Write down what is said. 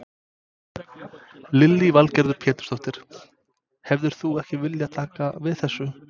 Lillý Valgerður Pétursdóttir: Hefðir þú ekki viljað taka við þessu?